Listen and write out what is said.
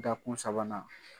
Dakun sabanan